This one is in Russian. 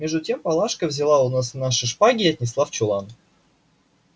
между тем палашка взяла у нас наши шпаги и отнесла в чулан